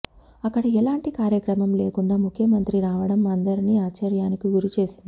అక్కడ ఎలాంటి కార్యక్రమం లేకుండా ముఖ్యమంత్రి రావటం అందరిని ఆశ్చర్యానికి గురి చేసింది